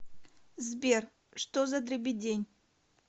сбер что за дребедень